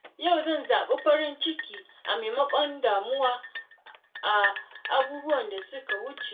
Yau zan zabi farin ciki a maimakon damuwa da abubuwan da suka wuce.